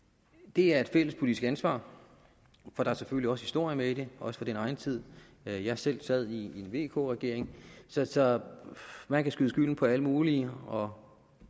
det er et fælles politisk ansvar for der er selvfølgelig også historie med i det også fra min egen tid da jeg selv sad i vk regeringen så så man kan skyde skylden på alle mulige og